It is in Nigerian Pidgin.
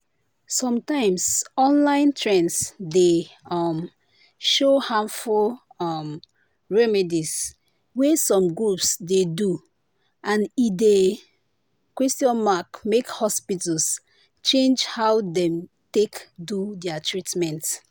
sometimes online trends dey um show harmful um remedies wey some groups dey do and e dey make hospitals change how dem take do their treatment.